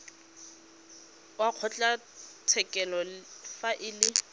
wa kgotlatshekelo fa e le